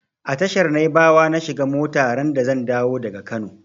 A tashar naibawa na shiga mota randa zan dawo daga Kano.